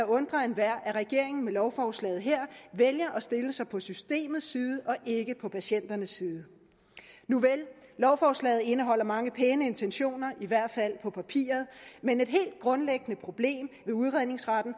undre enhver at regeringen med lovforslaget her vælger at stille sig på systemets side og ikke på patienternes side nuvel lovforslaget indeholder mange pæne intentioner i hvert fald på papiret men et helt grundlæggende problem med udredningsretten